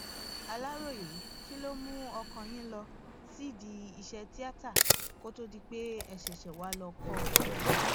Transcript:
aláròye kí ló mú ọkàn yín lọ sídìí iṣẹ tíata kó tóó di pé ẹ ṣẹṣẹ wá lọọ kọ ọ